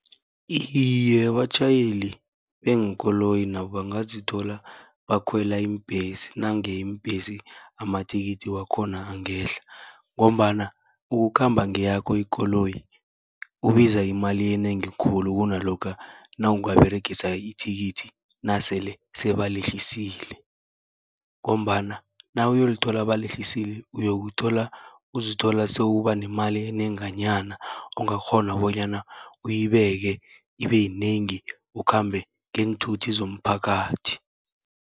Iye, abatjhayeli beenkoloyi nabo bangazithola bakhwela iimbhesi, nange iimbhesi amathikithi wakhona angehla. Ngombana ukukhamba ngeyakho ikoloyi kubiza imali enengi khulu, kunalokha nawungaberegisa ithikithi nasele sebalehlisile. Ngombana nawuyolithola balehlisile uyokuthola uzithola sewuba nemali enenganyana, ongakghona bonyana uyibeke ibe yinengi ukhambe ngeenthuthi zomphakathi.